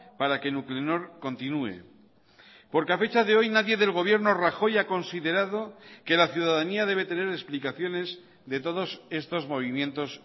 para que nuclenor continué porque a fecha de hoy nadie del gobierno rajoy ha considerado que la ciudadanía debe tener explicaciones de todos estos movimientos